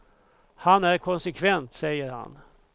Han är konsekvent, säger han.